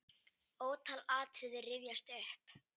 Ótal atriði rifjast upp.